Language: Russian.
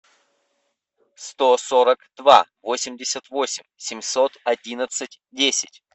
сто сорок два восемьдесят восемь семьсот одиннадцать десять